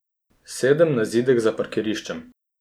Sedem na zidek za parkiriščem.